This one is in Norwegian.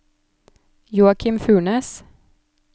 Joakim Furnes